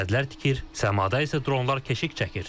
Sədlər tikir, səmada isə dronlar keşik çəkir.